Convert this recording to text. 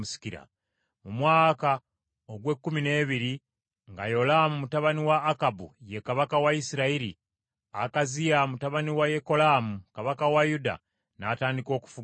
Mu mwaka ogw’ekkumi n’ebiri nga Yolaamu mutabani wa Akabu ye kabaka wa Isirayiri, Akaziya mutabani wa Yekolaamu kabaka wa Yuda, n’atandika okufuga Yuda.